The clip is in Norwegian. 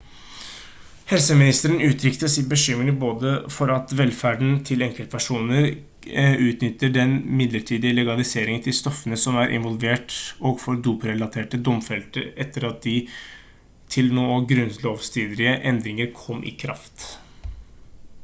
helseministeren uttrykte sin bekymring både for at velferden til enkeltpersoner utnytter den midlertidige legaliteten til stoffene som er involvert og for doprelaterte domfelte etter at de til nå grunnlovsstridige endringene kom i kraft